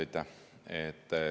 Aitäh!